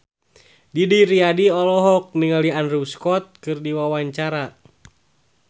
Didi Riyadi olohok ningali Andrew Scott keur diwawancara